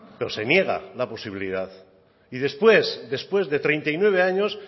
pero se niega la posibilidad y después de treinta y nueve años